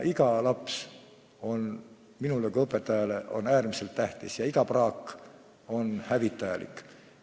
Iga laps on minule kui õpetajale äärmiselt tähtis ja iga praak on hävitajalik.